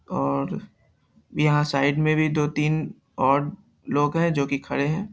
और यहॉं साइड में भी दो-तीन और लोग है जो कि खड़े है।